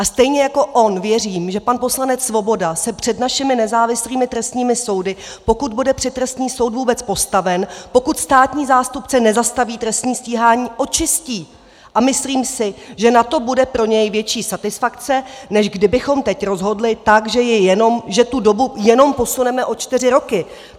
A stejně jako on věřím, že pan poslanec Svoboda se před našimi nezávislými trestními soudy, pokud bude před trestní soud vůbec postaven, pokud státní zástupce nezastaví trestní stíhání, očistí, a myslím si, že na to bude pro něj větší satisfakce, než kdybychom teď rozhodli tak, že tu dobu jenom posuneme o čtyři roky."